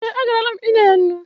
Ee, agarala m inye ya nnu.